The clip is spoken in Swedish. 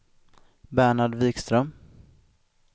Bernhard Wikström